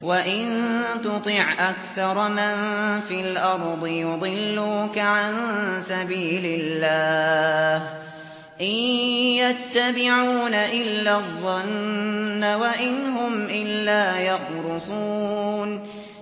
وَإِن تُطِعْ أَكْثَرَ مَن فِي الْأَرْضِ يُضِلُّوكَ عَن سَبِيلِ اللَّهِ ۚ إِن يَتَّبِعُونَ إِلَّا الظَّنَّ وَإِنْ هُمْ إِلَّا يَخْرُصُونَ